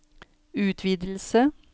utvidelse